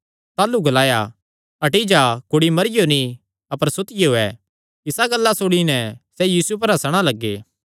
ताह़लू ग्लाया हटी जा कुड़ी मरियो नीं अपर सुतियो ऐ इसा गल्ला सुणी नैं सैह़ यीशु पर हंसणा लग्गे